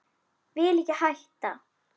Vil ekki hætta.